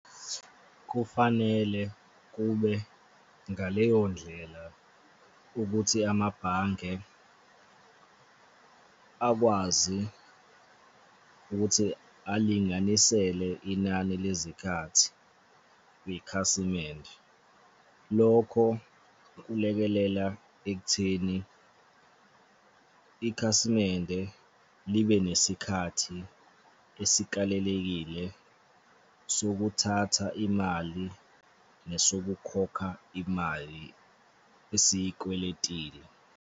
Kufanele kube ngaleyo ndlela ukuthi amabhange akwazi ukuthi alinganisele inani lezikhathi kwikhasimende. Lokho kulekelela ekutheni ikhasimende libe nesikhathi esikalelekile sokuthatha imali nesokukhokha imali esiy'kweletile.